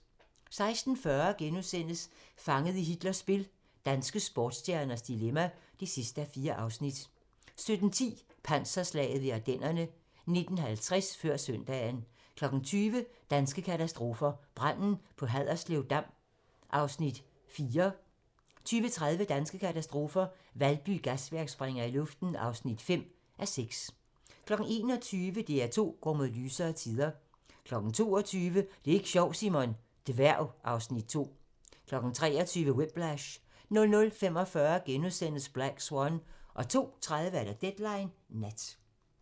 16:40: Fanget i Hitlers spil - danske sportsstjerners dilemma (4:4)* 17:10: Panserslaget ved Ardennerne 19:50: Før søndagen 20:00: Danske katastrofer - Branden på Haderslev Dam (4:6) 20:30: Danske katastrofer - Valby Gasværk springer i luften (5:6) 21:00: DR2 går mod lysere tider 22:00: Det er ik' sjovt, Simon! - Dværg (Afs. 2) 23:00: Whiplash 00:45: Black Swan * 02:30: Deadline Nat